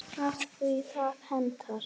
Af því að það hentar.